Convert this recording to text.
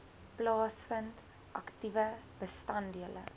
plaasvind aktiewe bestanddele